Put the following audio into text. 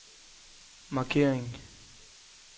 markering